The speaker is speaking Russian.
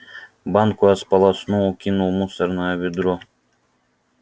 банку я сполоснул и кинул в мусорное ведро